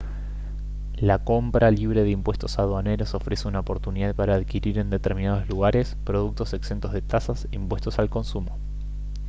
la compra libre de impuestos aduaneros ofrece una oportunidad para adquirir en determinados lugares productos exentos de tasas e impuestos al consumo